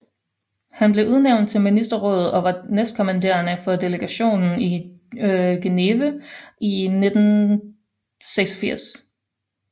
Han blev udnævnt til ministerråd og var næstkommanderende for delegationen i Geneve i 1986